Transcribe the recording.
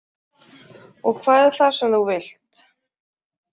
Og hvað er það sem þú vilt?